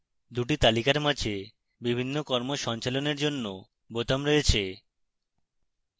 দুটি তালিকার মাঝে বিভিন্ন কর্ম সঞ্চালনের জন্য বোতাম রয়েছে